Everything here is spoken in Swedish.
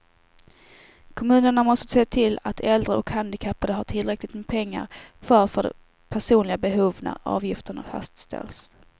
Kommunerna måste se till att äldre och handikappade har tillräckligt med pengar kvar för personliga behov när avgifterna fastställs.